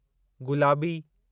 गुलाबी